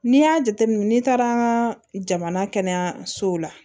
N'i y'a jateminɛ n'i taara an ka jamana kɛnɛyasow la